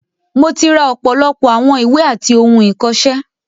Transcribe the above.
Mo ti ra ọ̀pọ̀lọpọ̀ àwọn ìwé àti ohun ìkọ̀ṣẹ́.